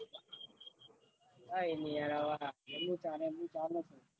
કાઈ નઈ યાર